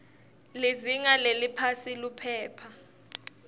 lizinga leliphasi liphepha